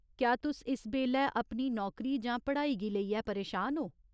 क्या तुस इस बेल्लै अपनी नौकरी जां पढ़ाई गी लेइयै परेशान ओ ?